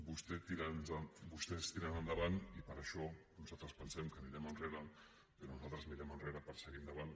vostès tiren endavant i per això nosaltres pensem que anirem enrere però nosaltres mirem enrere per seguir endavant